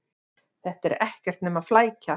Þetta er ekkert nema flækja.